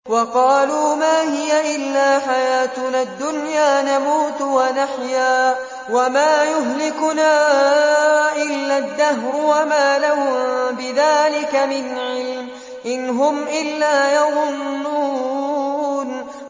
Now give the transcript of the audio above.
وَقَالُوا مَا هِيَ إِلَّا حَيَاتُنَا الدُّنْيَا نَمُوتُ وَنَحْيَا وَمَا يُهْلِكُنَا إِلَّا الدَّهْرُ ۚ وَمَا لَهُم بِذَٰلِكَ مِنْ عِلْمٍ ۖ إِنْ هُمْ إِلَّا يَظُنُّونَ